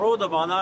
Doğulub.